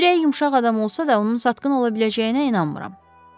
Ürəyi yumşaq adam olsa da, onun satqın ola biləcəyinə inanmıram.